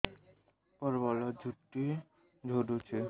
ପ୍ରବଳ ଚୁଟି ଝଡୁଛି